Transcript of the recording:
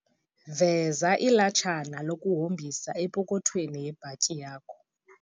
Veza ilatshana lokuhombisa epokwethweni yebhatyi yakho.